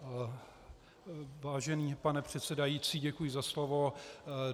Vážený pane předsedající, děkuji za slovo.